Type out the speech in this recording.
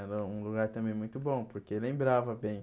Era um lugar também muito bom, porque lembrava bem.